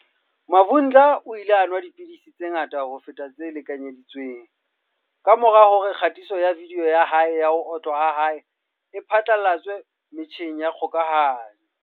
Ma vhunga o ile a nwa dipidisi tse ngata ho feta tse lekanyedi tsweng kamora hore kgatiso ya vidiyo ya ho otlwa ha hae e phatlalatswe metjheng ya kgokahano.